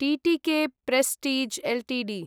TTK Prestige Ltd